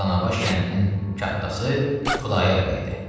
Bu Danabaş kəndinin kattası Xudayar bəydir.